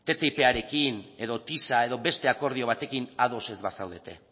ttiparekin edo tisa edo beste akordio batekin ados ez bazaudete